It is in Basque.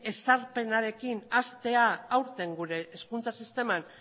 ezarpenarekin hastea aurten gure hezkuntza sistema